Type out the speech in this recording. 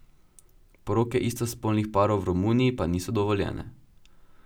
Poroke istospolnih parov v Romuniji pa niso dovoljene.